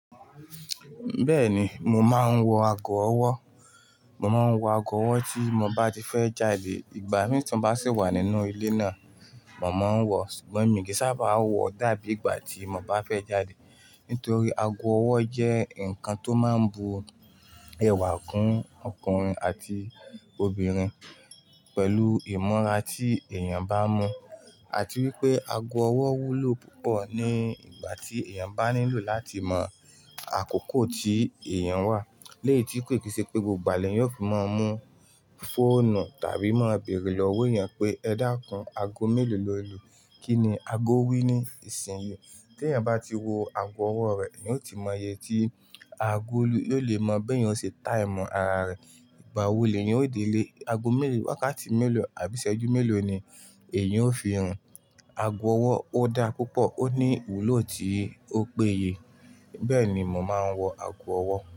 Bẹ́ẹ̀ni, mo máa ń wọ ago ọwọ́. Mo máa ń wọ ago ọwọ́ tí mo bá ti fẹ́ jáde. Ìgbà mí tí mo bá sì wà nínú ilé náà, mo máa ń wọ, ṣùgbọ́n mí kì í sábà á wọ̀ dá bí ìgbà tí mo bá fẹ́ jáde. Nítorí ago ọwọ́ jẹ́ nǹkan tó máa ń bu ẹwà kún ọkùnrin àti obìnrin pẹ̀lú ìmọ́ra tí èèyàn bá mọ̀. Àti wípé ago ọwọ́ wúlò púpọ̀ ní ìgbà tí èèyàn bá nílò láti mọ̀ àkókò tí èèyàn wà. Léè tí pé kì í ṣe pé gbogbo ìgbà ni ẹni yóò fi máa ń mú fóònù tàbí máa bèrè lọ wí ẹni pé "Ẹ dá ikún ago mélòó loolu Kí ni ago wí ní isinyi Tí èèyàn bá ti wo ago ọwọ́ rẹ̀, èèyàn ó ti maa yẹ tí ago lu yio lè maa bí èèyàn o ṣe time ara rẹ̀. Ìgbà wo lèyẹn ó dé lé ago mélòó, wákàtí mélòó àbí iṣẹ́jú mélòó ni èèyàn ó fi rin. Ago ọwọ́ ó dá púpọ̀, ó ní wúlò tí ó péye. Bẹ́ẹ̀ ni mò máa ń wọ ago ọwọ́